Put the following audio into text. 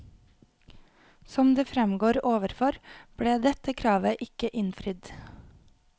Som det fremgår overfor, ble dette kravet ikke innfridd.